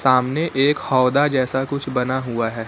सामने एक हौदा जैसा कुछ बना हुआ हैं।